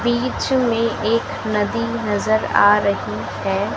बीच में एक नदी नजर आ रही हैं।